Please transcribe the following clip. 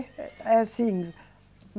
É, assim.